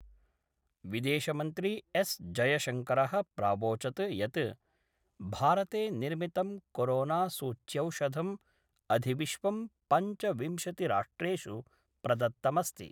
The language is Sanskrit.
विदेशमन्त्री एस् जयशंकरः प्रावोचत् यत् भारते निर्मितं कोरोनासूच्यौषधं अधिविश्वं पंचविंशतिराष्ट्रेषु प्रदत्तमस्ति